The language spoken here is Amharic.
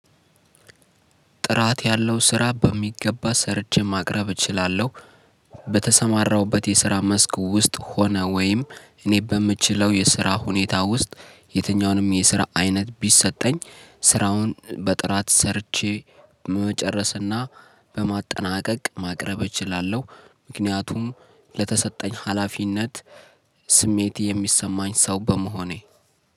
ጥራት ያለው ስራ በሚገባ ሰርቼ ማቅረብ እችላለሁ። በተሰማራውበት የስራ መስክ ውስጥ ሆነ ወይም እኔ በምችለው የስራ ሁኔታ ውስጥ የትኛውንም የስራ አይነት ቢሰጠኝ ስራውን በጥራት ሰርቼ መጨረስና በማጠናቀቅ ማቅረብ እችላለሁ። ምክንያቱም ለተሰጠኝ ሀላፊነት ስሜት የሚሰማኝ ሰው በመሆኔ